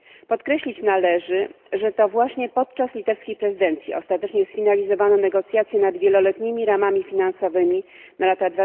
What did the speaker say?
Podkreślić należy, że to właśnie podczas litewskiej prezydencji ostatecznie sfinalizowano negocjacje nad wieloletnimi ramami finansowymi na lata